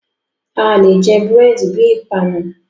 Alè jẹ búrẹ̀dì bi ìpanu.